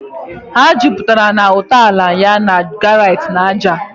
Ha juputara na ntọala ya na granite na ájá.